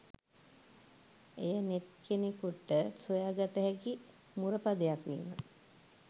එය නෙත් කෙනෙකුට සොයා ගත හැකි මුරපදයක් වීම